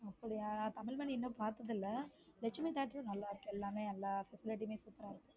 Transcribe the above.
அப்படியா தமிழ் மண்ணு இன்னும் பார்த்ததில்லை லட்சுமி theater நல்லா இருக்கு எல்லாமே எல்லா facility யும் super ரா இருக்கு